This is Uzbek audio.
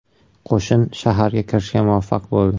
Qo‘shin shaharga kirishga muvaffaq bo‘ldi.